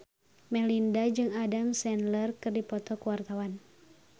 Melinda jeung Adam Sandler keur dipoto ku wartawan